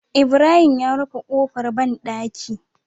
Ibrahim ya rufe kofar banɗaki